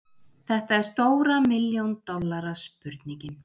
Þetta er stóra milljón dollara spurningin.